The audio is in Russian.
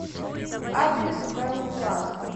адрес бэл плаза